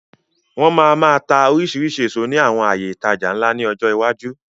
Wọn máa máa tá oríṣiríṣi èso ní àwọn àyè ìtajà ńlá ni ọjọ́ iwájú.